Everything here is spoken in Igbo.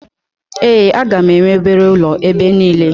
Ee, a ga-enwe obere ụlọ ebe niile